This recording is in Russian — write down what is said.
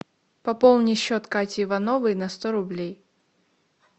пополни счет кати ивановой на сто рублей